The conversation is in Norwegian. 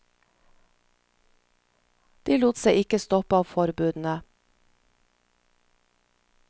De lot seg ikke stoppe av forbudene.